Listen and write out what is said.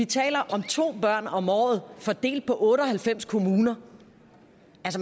taler om to børn om året fordelt på otte og halvfems kommuner